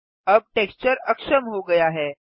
अब टेक्सचर अक्षम हो गया है